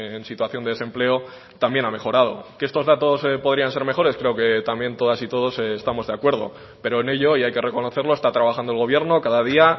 en situación de desempleo también ha mejorado que estos datos podrían ser mejores creo que también todas y todos estamos de acuerdo pero en ello y hay que reconocerlo está trabajando el gobierno cada día